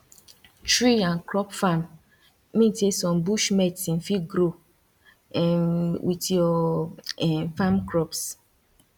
tree an crop farm mean say some bush medicine fit grow um with your um farm crops